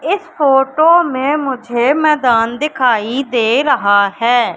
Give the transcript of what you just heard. इस फोटो में मुझे मैदान दिखाई दे रहा है।